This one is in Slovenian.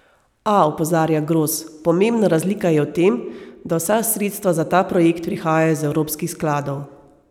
A, opozarja Gros, pomembna razlika je v tem, da vsa sredstva za ta projekt prihajajo iz evropskih skladov.